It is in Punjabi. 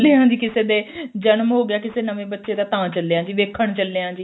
ਚੱਲੇ ਆਂ ਜੀ ਕਿਸੇ ਦੇ ਜਨਮ ਹੋ ਗਿਆ ਕਿਸੇ ਨਵੇਂ ਬੱਚੇ ਦਾ ਤਾਂ ਚੱਲੇ ਆ ਜੀ ਦੇਖਣ ਚੱਲੇ ਆਂ ਜੀ